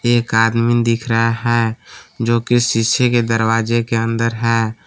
एक आदमी दिख रहा हैं जो कि शीशे के दरवाजे के अंदर है।